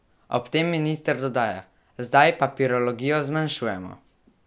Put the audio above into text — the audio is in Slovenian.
Ob tem minister dodaja: "Zdaj "papirologijo" zmanjšujemo.